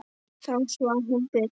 Þá svaf hún betur.